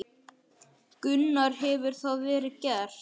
Gunnar: Hefur það verið gert?